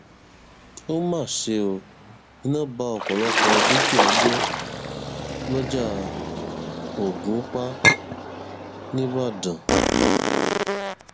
ó mà ṣe ó iná ba ọpọlọpọ dúkìá jẹ lọjà ògúnpá ńíbàdàn